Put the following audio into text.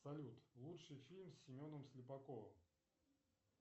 салют лучший фильм с семеном слепаковым